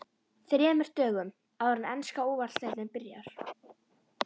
ÞREMUR DÖGUM áður en enska Úrvalsdeildin byrjar?